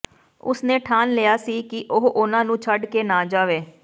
ਉਸ ਨੇ ਠਾਣ ਲਿਆ ਸੀ ਕਿ ਉਹ ਉਨ੍ਹਾਂ ਨੂੰ ਛੱਡ ਕੇ ਨਾ ਜਾਵੇ